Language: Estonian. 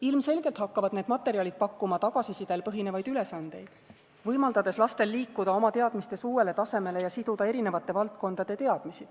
Ilmselgelt hakkavad need materjalid pakkuma tagasisidel põhinevaid ülesandeid, võimaldades lastel liikuda oma teadmistes uuele tasemele ja siduda erinevate valdkondade teadmisi.